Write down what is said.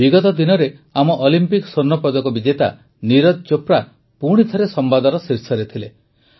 ବିଗତ ଦିନରେ ଆମ ଅଲିମ୍ପିକ ସ୍ୱର୍ଣ୍ଣପଦକ ବିଜେତା ନୀରଜ ଚୋପ୍ରା ପୁଣି ଥରେ ସମ୍ବାଦର ଶୀର୍ଷରେ ଥିଲେ